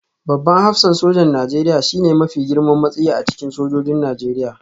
Babban hafsan sojan Najeriya shine mafi girman matsayi a cikin sojojin Najeriya